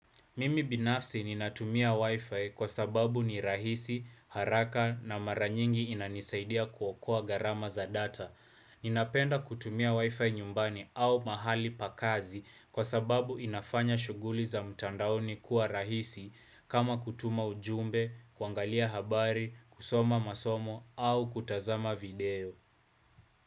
Mimi binafsi ninatumia wifi kwa sababu ni rahisi, haraka na maranyingi inanisaidia kuokoa garama za data. Ninapenda kutumia wifi nyumbani au mahali pakazi kwa sababu inafanya shuguli za mtandaoni kuwa rahisi kama kutuma ujumbe, kuangalia habari, kusoma masomo au kutazama video.